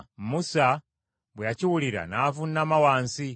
Musa bwe yakiwulira n’avuunama wansi.